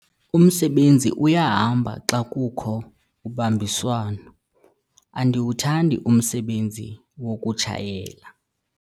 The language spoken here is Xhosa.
Umsebenzi uyahamba xa kukho ubambiswano. andiwuthandi umsebenzi wokutshayela